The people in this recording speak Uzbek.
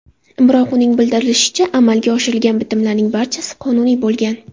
Biroq, uning bildirishicha, amalga oshirilgan bitimlarning barchasi qonuniy bo‘lgan.